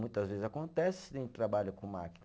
Muitas vezes acontece em trabalho com máquina.